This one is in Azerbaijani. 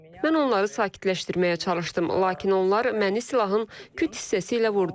Mən onları sakitləşdirməyə çalışdım, lakin onlar məni silahın küt hissəsi ilə vurdular.